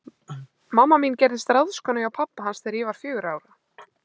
Mamma mín gerðist ráðskona hjá pabba hans þegar ég var fjögurra ára.